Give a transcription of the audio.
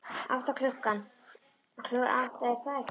Átta, klukkan átta, er það ekki?